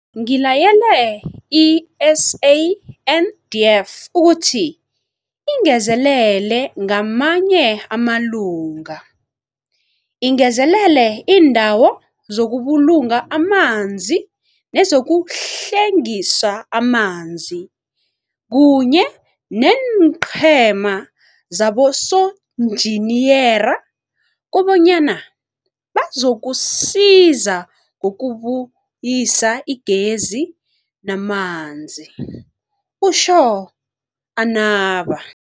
Ngilayele i-SANDF ukuthi ingezelele ngamanye amalunga, ingezelele iindawo zokubulunga amanzi nezokuhlwengisa amanzi kunye neenqhema zabosonjiniyera kobanyana bazokusiza ngokubuyisa igezi namanzi, utjho anaba.